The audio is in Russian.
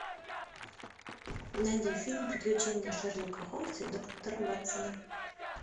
найди фильм приключения шерлока холмса и доктора ватсона